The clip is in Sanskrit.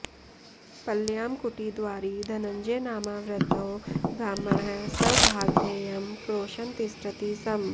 पल्ल्यां कुटीद्वारि धनञ्जयनामा वृद्धो ब्राह्मणः स्वभागधेयं क्रोशन् तिष्ठति स्म